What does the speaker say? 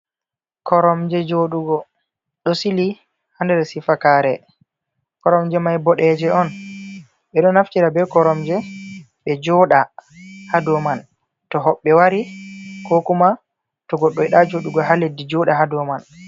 Koromje jooɗugo ɗo sili haa sifakaare, Koromje man boɗeeje on, ɓe ɗo naftira bee Koromje ɓe jooɗa haa dow man, to hoɓɓe wari koo kuma to goɗɗo yiɗaa jooɗugo haa leddi jooɗa haa dow man.